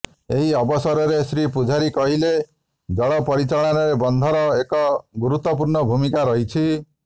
ଏହି ଅବସରରେ ଶ୍ରୀ ପୂଜାରୀ କହିଲେ ଜଳ ପରିଚାଳନାରେ ବନ୍ଧର ଏକ ଗୁରୁତ୍ବପୂର୍ଣ୍ଣ ଭୂମିକା ରହିଛି